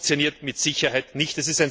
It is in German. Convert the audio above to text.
Das funktioniert mit Sicherheit nicht.